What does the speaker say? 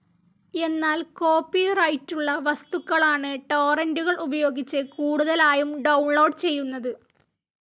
എന്നാൽ കോപ്പിറൈറ്റുള്ള വസ്തുക്കളാണ് ടോറൻ്റുകൾ ഉപയോഗിച്ച് കൂടുതലായും ഡൌൺലോഡ്‌ ചെയ്യുന്നത്.